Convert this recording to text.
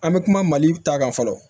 An bɛ kuma mali ta kan fɔlɔ